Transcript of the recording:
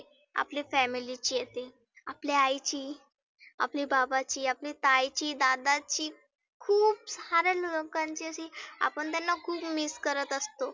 आपल्या family ची येते. आपल्या आईची, आपली बाबाची, आपली ताईची दादाची, खुप सार्या लोकांची अशी आपण त्यांना खुप miss करत असतो.